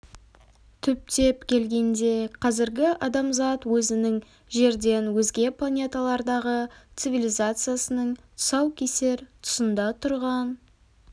түптеп келгенде қазіргі адамзат өзінің жерден өзге планеталардағы цивилизациясының тұсау кесер тұсында тұрған